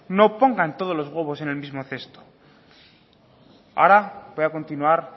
no pongan todos los huevos en el mismo cesto ahora voy a continuar